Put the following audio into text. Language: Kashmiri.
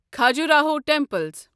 کھجوراہو ٹیمپلس